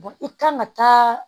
i kan ka taa